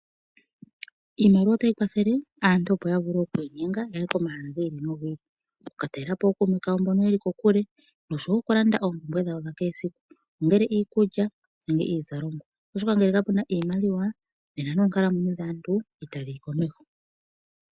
Iimaliwa otayi kwathele aantu opo ya vule okwiinyenga yaye komahala gi ili no gi ili okukaka talelapo ookume kaeomboka yeli kokuli nosho wo okulanda oompumbwe dhawo dha kehe esiku ongele iikulya nenge iizalomwa ,oshoka ngele ka puna iimaliwa nena noonkalamwenyo dhaantu ita dhi yi komeho.